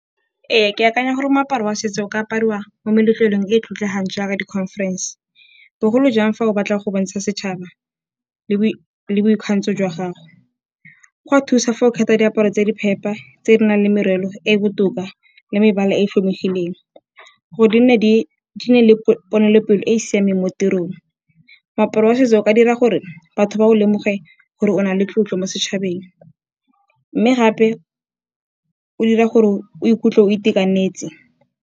Ee, ke akanya gore moaparo wa setso o ka apariwa mo meletlelong e e tlotlegang jaaka di-conference-e, bogolo jang fa o batla go bontsha setšhaba le boikgantsho jwa gago. Go a thusa fa o kgetha diaparo tse di phepa tse di nang le merelo e e botoka le mebala e tlhomegileng. Gore di nne le ponelopele e e siameng mo tirong. Moaparo wa setso o ka dira gore batho ba o lemoge gore o na le tlotlo mo setšhabeng, mme gape o dira gore o ikutlwe o itekanetse.